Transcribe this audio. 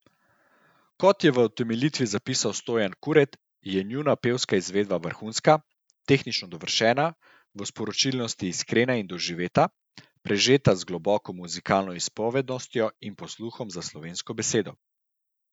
Kot je v utemeljitvi zapisal Stojan Kuret, je njuna pevska izvedba vrhunska, tehnično dovršena, v sporočilnosti iskrena in doživeta, prežeta z globoko muzikalno izpovednostjo in posluhom za slovensko besedo.